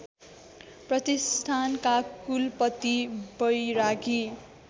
प्रतिष्ठानका कुलपति बैरागी